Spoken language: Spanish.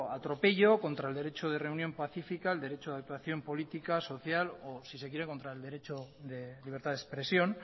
atropello contra el derecho de reunión pacífica el derecho de actuación política social o si se quiere contra el derecho de libertad de expresión